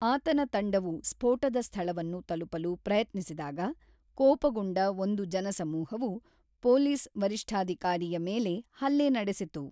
ಆತನ ತಂಡವು ಸ್ಫೋಟದ ಸ್ಥಳವನ್ನು ತಲುಪಲು ಪ್ರಯತ್ನಿಸಿದಾಗ ಕೋಪಗೊಂಡ ಒಂದು ಜನಸಮೂಹವು ಪೊಲೀಸ್ ವರಿಷ್ಠಾಧಿಕಾರಿಯ ಮೇಲೆ ಹಲ್ಲೆ ನಡೆಸಿತು.